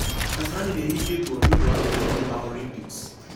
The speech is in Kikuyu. Kasarani nĩhingetwo nĩũndũ wa meharĩria ma olympics.